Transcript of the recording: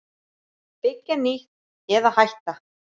Byggja nýtt- eða hætta?